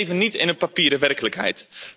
Want we leven niet in een papieren werkelijkheid.